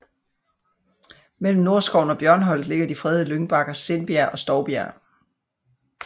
Mellem Nordskoven og Bjørnholt ligger de fredede lyngbakker Sindbjerg og Stoubjerg